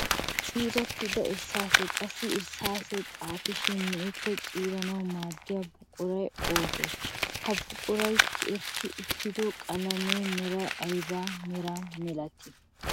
Ciirettida irssaasee, qassikka irssaasee xaafishin me'ik ko ciiranawu maaddiyaa buquraykka oogee? Ha buqurati tiyetti uttido qalamiya meray ayiba Mera milatii?